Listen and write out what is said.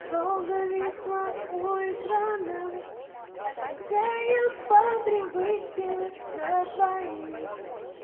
долго висла у экрана отвечая по привычке на твои